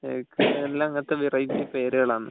എല്ലാം അങ്ങനത്തെ വെറൈറ്റി പേരുകളാണ്